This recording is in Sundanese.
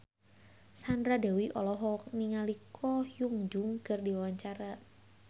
Sandra Dewi olohok ningali Ko Hyun Jung keur diwawancara